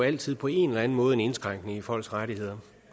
altid på en eller anden måde indskrænker folks rettigheder